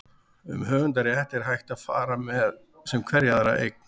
um höfundarrétt er hægt að fara með sem hverja aðra eign